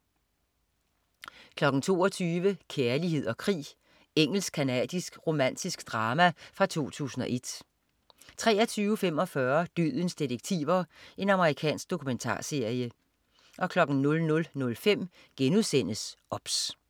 22.00 Kærlighed og krig. Engelsk-canadisk romantisk drama fra 2001 23.45 Dødens detektiver. Amerikansk dokumentarserie 00.05 OBS*